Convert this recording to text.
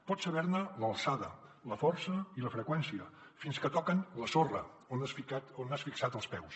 pots saber ne l’alçada la força i la freqüència fins que toquen la sorra on has fixat els peus